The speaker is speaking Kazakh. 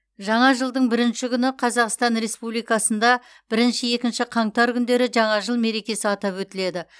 жаңа жылдың бірінші күні қазақстан республикасында бірінші екінші қаңтар күндері жаңа жыл мерекесі атап өтіледі